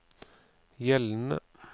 gjeldende